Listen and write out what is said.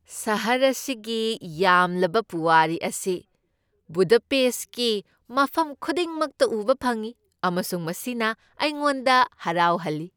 ꯁꯍꯔ ꯑꯁꯤꯒꯤ ꯌꯥꯝꯂꯕ ꯄꯨꯋꯥꯔꯤ ꯑꯁꯤ ꯕꯨꯗꯥꯄꯦꯁ꯭ꯠꯀꯤ ꯃꯐꯝ ꯈꯨꯗꯤꯡꯃꯛꯇ ꯎꯕ ꯐꯪꯢ, ꯑꯃꯁꯨꯡ ꯃꯁꯤꯅ ꯑꯩꯉꯣꯟꯗ ꯍꯔꯥꯎꯍꯜꯂꯤ ꯫